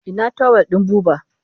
Ina tawul ɗin Buba?